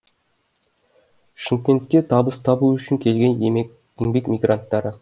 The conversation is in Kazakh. шымкентке табыс табу үшін келген еңбек мигранттары